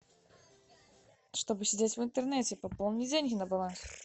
чтобы сидеть в интернете пополни деньги на баланс